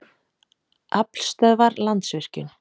Aflstöðvar- Landsvirkjun.